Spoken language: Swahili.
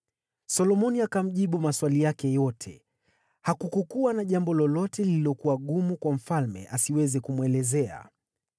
Solomoni akamjibu maswali yake yote, hakukuwa na jambo lolote lililokuwa gumu kwa mfalme asiweze kumwelezea.